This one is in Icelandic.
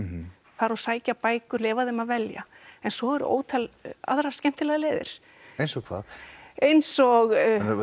fara og sækja bækur leyfa þeim að velja en svo eru ótal aðrar skemmtilegar leiðir eins og hvað eins og